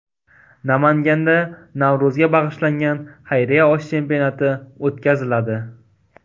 Namanganda Navro‘zga bag‘ishlangan xayriya osh chempionati o‘tkaziladi.